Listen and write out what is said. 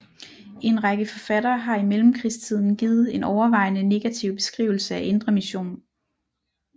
En række forfattere har i mellemkrigstiden givet en overvejende negativ beskrivelse af Indre Mission